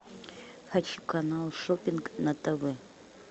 хочу канал шопинг на тв